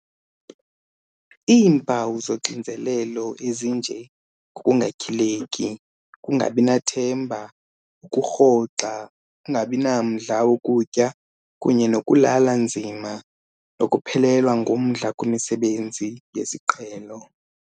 Iimpawu zoxinzelelo, ezinje ngokungatyhileki, ukungabinathemba, ukurhoxa, ukungabinamdla wokutya kunye nokulala nzima, nokuphelelwa ngumdla kwimisebenzi yesiqhelo.